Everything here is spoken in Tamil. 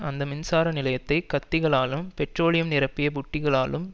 அந்த மின்சார நிலையத்தை கத்திகளாலும் பெட்ரோலியம் நிரப்பிய புட்டிகளாலும்